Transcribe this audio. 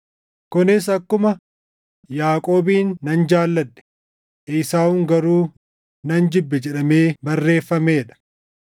Kunis akkuma, “Yaaqoobin nan jaalladhe; Esaawun garuu nan jibbe” + 9:13 \+xt Mil 1:2,3\+xt* jedhamee barreeffamee dha.